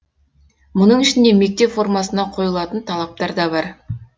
мұның ішінде мектеп формасына қойылатын талаптар да бар